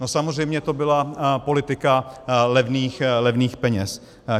No samozřejmě to byla politika levných peněz!